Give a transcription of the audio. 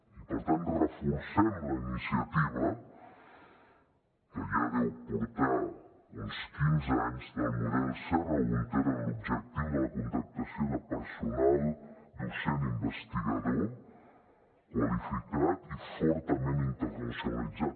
i per tant reforcem la iniciativa que ja deu portar uns quinze anys del model serra húnter amb l’objectiu de la contractació de personal docent i investigador qualificat i fortament internacionalitzat